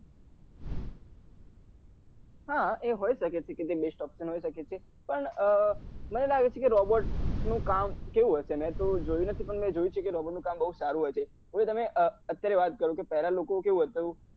હા હોઈ સકે છે કે તે best option હોય સકે છે પણ અ મને લાગે છે કે robot નું કામ કેવું હશે મેં તો જોયું નથી પણ મેં જોયું છે કે robot નું કામ બઉ સારું હોય છે મેં તમને અત્યારે વાત કરું કે પેલા લોકો કેવું હતું